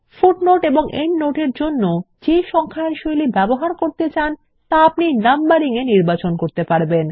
footnotes এবং endnotes এর জন্য যে সংখ্যায়ন শৈলী ব্যবহার করতে চান তা আপনি Numbering এ নির্বাচন করতে পারবেন